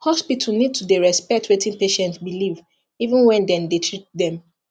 hospital need to dey respect wetin patient believe even when dem dey treat them